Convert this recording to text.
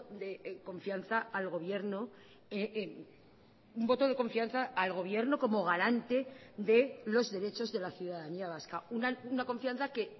de confianza al gobierno un voto de confianza al gobierno como garante de los derechos de la ciudadanía vasca una confianza que